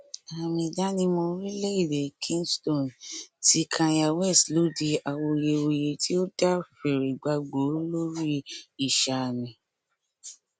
aàmì ìdánimọ orílẹ èdèe kingston ti kanye west ló di awuyewuye tí ó dá fìrìgbagbòó lórí ìsààmì